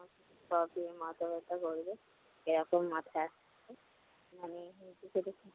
তবে মাথা ব্যথা করবে। এখন মাথা